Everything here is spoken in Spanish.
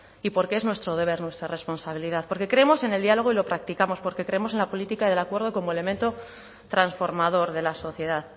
y porque es nuestro deber nuestra responsabilidad porque creemos en el diálogo y lo practicamos porque creemos en la política del acuerdo como elemento transformador de la sociedad